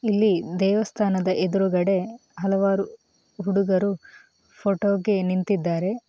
ಇಲ್ಲಿ ದೇವಸ್ಥಾನದ ಎದುರುಗಡೆ ಹಲವಾರು ಹುಡುಗರು ಫೋಟೋಗೆ ನಿಂತಿದ್ದಾರೆ.